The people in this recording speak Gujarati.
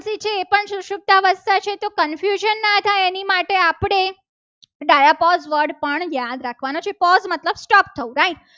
ડાયા પગ પણ યાદ રાખવાના છે. pose મતલબ stop થવું right